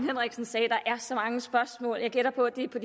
jeg så mange spørgsmål jeg gætter på at de er på